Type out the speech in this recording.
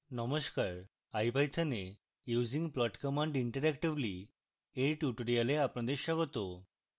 নমস্কার ipython এ using plot command interactively এর tutorial আপনাদের স্বাগত